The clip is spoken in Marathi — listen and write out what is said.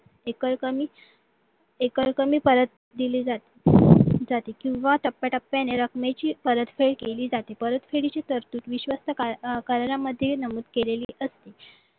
एका एकाने एका एकाने परत दिली जाते किंवा टप्प्याटप्प्याने रकमेची परतफेड केली जाते परतफेडीचे तर्तुत विश्वस्त करण्यामध्ये नमूद केलेली असते